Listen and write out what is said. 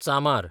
चामार